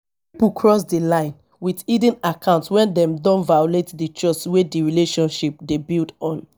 pipo cross di line with hidden account when dem don violate di trust wey di relationship dey built on